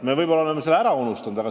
Me oleme võib-olla selle ära unustanud.